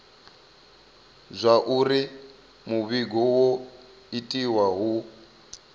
zwauri muvhigo wo itiwa hu